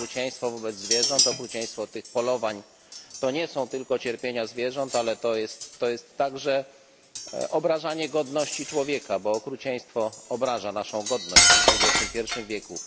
Okrucieństwo wobec zwierząt, okrucieństwo tych polowań to nie są tylko cierpienia zwierząt, ale to jest także obrażanie godności człowieka, bo okrucieństwo obraża naszą godność w dwudziestym pierwszym wieku.